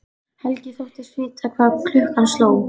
Helgi þóttist vita hvað klukkan sló.